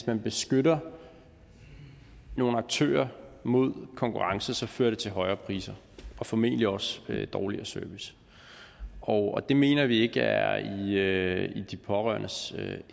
man beskytter nogle aktører mod konkurrence så fører det til højere priser og formentlig også dårligere service og det mener vi ikke er i i de pårørendes